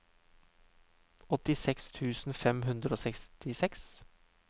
åttiseks tusen fem hundre og sekstiseks